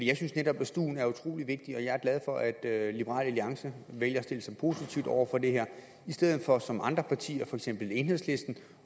jeg synes netop at stuen er utrolig vigtig og jeg er glad for at liberal alliance vælger at stille sig positivt over for det her i stedet for som andre partier for eksempel enhedslisten